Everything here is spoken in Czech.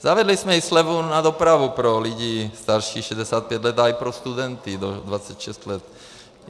Zavedli jsme i slevu na dopravu pro lidi starší 65 let a i pro studenty do 26 let.